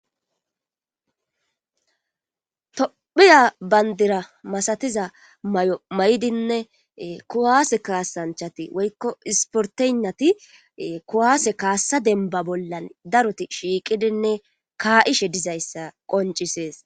Tophiya bandira masatiza may7o may7dinne kuwaase kaasanchati woykko isportennati kuwaase kaassa denba bollan daroti shiiqidinne kaa7ishe dizayssa qoncisees.